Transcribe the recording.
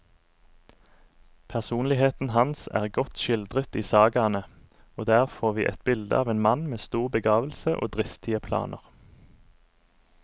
Personligheten hans er godt skildret i sagaene, og der får vi et bilde av en mann med stor begavelse og dristige planer.